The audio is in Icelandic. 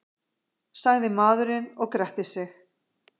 sagði maðurinn og gretti sig.